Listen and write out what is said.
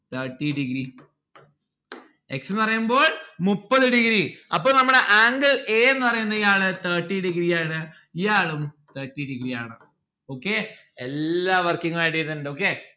thirty degree x ന്ന്‌ പറയുമ്പോൾ മുപ്പത് degree അപ്പോൾ നമ്മടെ angle a എന്ന് പറയുന്നയാള് thirty degree ആണ് ഇയാളും thirty degree ആണ് okay എല്ലാ working add okay